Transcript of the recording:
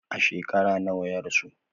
A shekara nawa ya rasu?